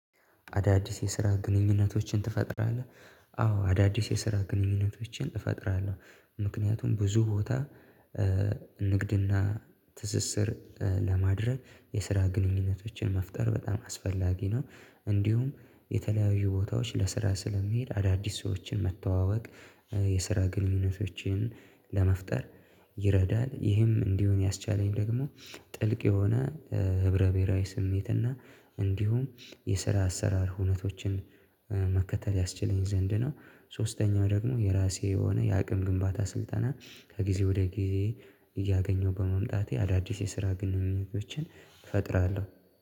አዳዲስ የስራ ግንኙነቶችን ትፈጥራለህ? አዎ አዳዲስ የስራ ግንኙነቶችን እፈጥራለሁ ምክንያቱም ብዙ ቦታ ንግድና ትስስር ለማድረግ የስራ ግንኙነቶችን መፍጠር በጣም አስፈላጊ ነው። እንዲሁም የተለያዩ ቦታዎች ለስራ ስለሚሄድ አዳዲስ ሰዎችን መተዋወቅ የስራ ግንኙነቶችን ለመፍጠር ይረዳል። ይህም እንዲሆን ያስቻለኝ ደግሞ ጥልቅ የሆነ ህብረ ብሄራዊ ስሜት እና እንዲሁም የስራ አሰራር ሁኔታዎችን መከተል ያስችለኝ ዘንድ ነው። ሶስተኛው ደግሞ የራሴ የሆነ የአቅም ግንባታ ስልጠና ከጊዜ ወደ ጊዜ እያገኘሁ በመምጣቴ አዳዲስ የስራ ግንኙነቶችን እፈጥራለሁ